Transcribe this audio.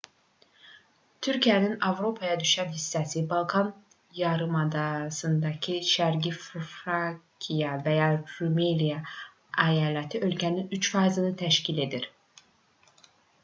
türkiyənin avropaya düşən hissəsi balkan yarımadasındakı şərqi frakiya və ya rumeliya əyaləti ölkənin 3%-ni təşkil edir